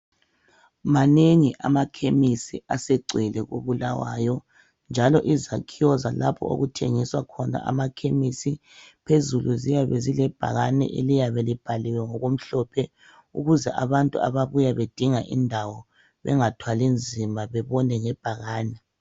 Manengi amakhemesi asegcwele koBulawayo, njalo izakhiwo zalapho okuthengiswa khona amakhemesi, phezulu ziyabe zilebhakane eliyabe libhallwe ngokhomhlophe, ukuze abantu ababuya bedinga indawo bengathwali nzima bebone ngebhakani.